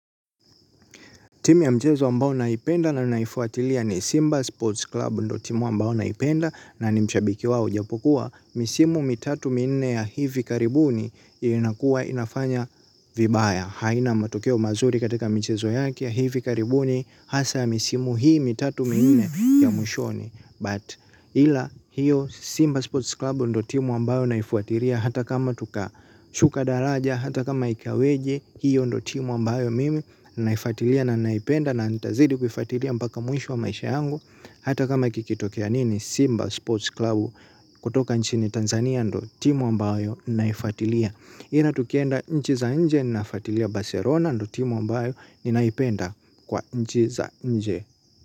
Timu ya mchezo ambao naipenda na naifuatilia ni Simba Sports Club ndiyo timu ambao naipenda na ni mshabiki wao ijapokuwa. Misimu mitatu minne ya hivi karibuni inakuwa inafanya vibaya. Haina matokeo mazuri katika mchezo yake ya hivi karibuni hasa ya misimu hii mitatu minne ya mwishoni. But ila hiyo Simba Sports Club ndiyo timu ambayo naifuatilia. Hata kama tukashuka daraja hata kama ikaweje. Hiyo ndiyo timu ambayo mimi naifuatilia na naipenda. Na nitazidi kufatilia mpaka mwisho wa maisha yangu. Hata kama kikitokea nini Simba Sports Club Kutoka nchini Tanzania ndiyo timu ambayo naifautilia ila tukienda nchi za nje naifuatilia Barcelona. Ndiyo timu ambayo ninaipenda kwa nchi za nje.